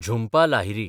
Jhumpa Lahiri